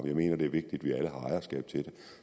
jeg mener det er vigtigt at ejerskab til det